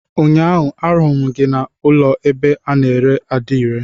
Ụnyaahụ ahuru m gị na ụlọ ebe ana ere adire.